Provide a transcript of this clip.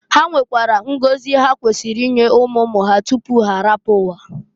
Ha nwekwara ngozi ha kwesiri inye umu umu ha tupu h'arapụ ụwa.